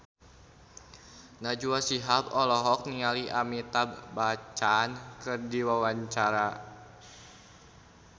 Najwa Shihab olohok ningali Amitabh Bachchan keur diwawancara